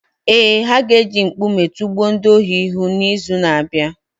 Ee, ha ga-eji nkume tụgbuo ndị ohi hụ n’izu na-abịa.